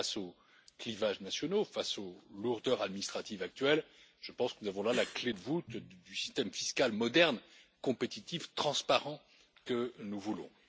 Face aux clivages nationaux, face aux lourdeurs administratives actuelles, je pense que nous avons là la clé de voûte du système fiscal moderne, compétitif, transparent, que nous voulons.